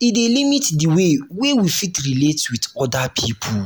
e dey limit di wey wey we fit relate with oda people